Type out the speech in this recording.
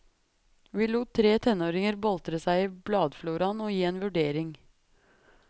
Vi lot tre tenåringer boltre seg i bladfloraen og gi en vurdering.